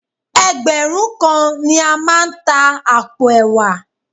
Ẹgbẹ̀rún kan ni a máa ta àpò ẹ̀wà